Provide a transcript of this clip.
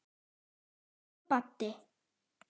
Elsku Baddi.